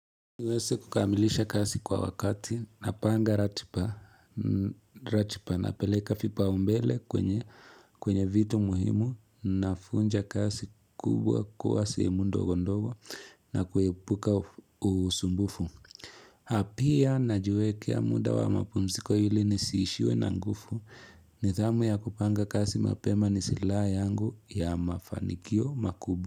Uweze kukamilisha kazi kwa wakati, napanga ratiba, napeleka vipaumbele kwenye vitu muhimu, navunja kazi kubwa kuwa sehemu ndogo ndogo na kuepuka usumbufu. Na pia najiwekea muda wa mapumziko ili nisiishiwe na nguvu, nidhamu ya kupanga kazi mapema ni silaha yangu ya mafanikio makubwa.